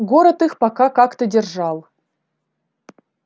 город их пока как-то держал